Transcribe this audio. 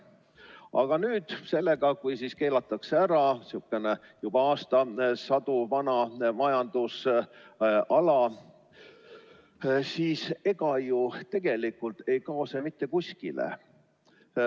Aga nüüd sellega, kui keelatakse ära sihuke juba aastasadu vana majandusala, siis ega see tegelikult ei kao ju mitte kuskile.